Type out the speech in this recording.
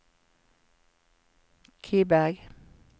Kiberg